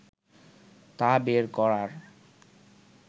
তা বের করার